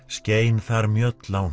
skein þar mjöll á